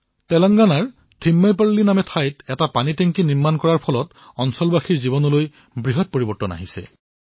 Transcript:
তেনেংগানাৰ থিমাইপল্লীত টেংক নিৰ্মাণৰ দ্বাৰা গাঁৱৰ লোকসমূহৰ জীৱনৰ পৰিৱৰ্তন হৈছে